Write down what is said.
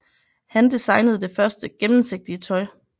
Han designede det første gennemsigtige tøj